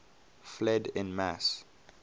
fled en masse